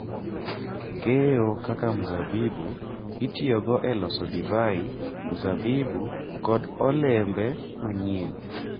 Keyo kaka mzabibu itiyogo e loso divai, mzabibu, kod olembe manyien.